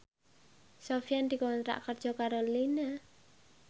Sofyan dikontrak kerja karo Line